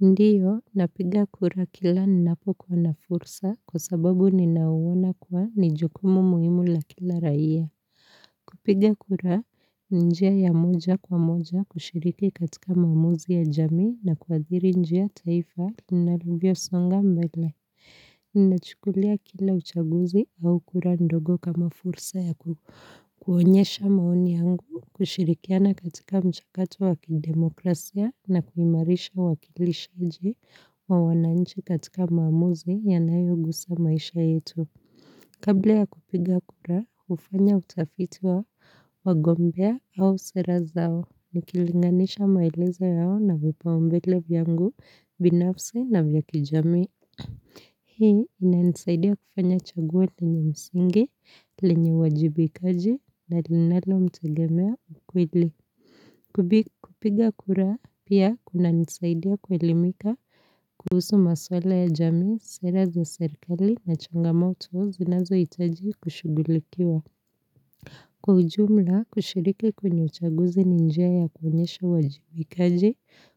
Ndiyo, napiga kura kila ninapokuwa na fursa kwa sababu ninauona kuwa ni jukumu muhimu la kila raia. Kupiga kura, njia ya moja kwa moja kushiriki katika maamuzi ya jamii na kuathiri njia taifa linavyosonga mbele. Nachukulia kila uchaguzi au kura ndogo kama fursa ya kuonyesha maoni yangu, kushirikiana katika mchakato wa kidemokrasia na kuimarisha wakilishaji wa wananchi katika maamuzi yanayogusa maisha yetu. Kabla ya kupiga kura, hufanya utafiti wa wagombea au sera zao, nikilinganisha maelezo yao na vipaumbele vyangu, binafsi na vya kijamii. Hii inanisaidia kufanya chaguo lenye msingi, lenye uwajibikaji na linalomtegemea kweli. Kupiga kura pia kunanisaidia kuelimika kuhusu maswala ya jamii, sera za serikali na changamoto zinazohitaji kushugulikiwa. Kwa ujumla kushiriki kwenye uchaguzi ni njia ya kuonyesha uwajibikaji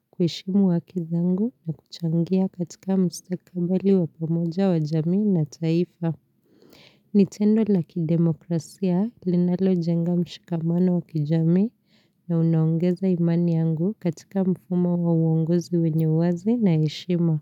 kuheshimu haki zangu na kuchangia katika mustakabadhi wa pamoja wa jamii na taifa. Ni tendo la kidemokrasia linalojenga mshikamano wa kijamii na unaongeza imani yangu katika mfumo wa uongozi wenye wazi na heshima.